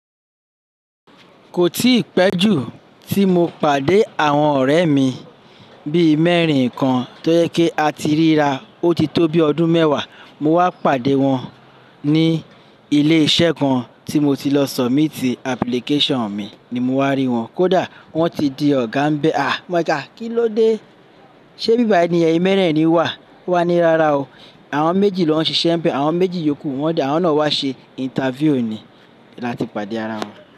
Kò tí ì pẹ́jù tí mo pàdé àwọn ọ̀rẹ́ mi bí i mẹ́rin kan tó yẹ kí a ti ríra ó ti tó bí ọdún mẹ́wàá, mo wá pàdé wọn ní ilé iṣẹ́ kan tí mo ti lọ submit application mi ni mo wá rí wọn. Kódà wọ́n ti di ọ̀gá ń bẹ. À, mó jẹ ká, kí ló dé? Ṣé bíbái ni èyin mẹ́rẹ̀ẹ̀rin wà? Wọ́n ní, "Rárá o." Àwọn méjì lọ ń ṣiṣẹ́ ń bẹ, àwọn méjì yókù. Wọ́n di, àwọn náà wá ṣe interview ni láti pàdé ara wa.